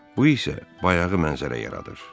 Bu isə bayağı mənzərə yaradır.